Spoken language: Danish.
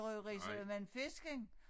Røgeri så men fisken